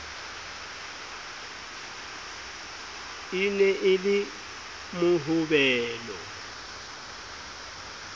e ne e le mohobelo